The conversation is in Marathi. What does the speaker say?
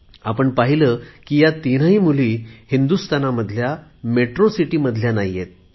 आपण पाहिले की ह्या तीनही मुली हिंदुस्थानामधील महानगरातील नाहीत